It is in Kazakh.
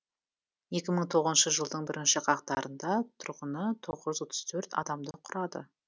екі мың тоғызыншы жылдың бірінші қаңтарында тұрғыны тоғыз жүз отыз төрт адамды құрады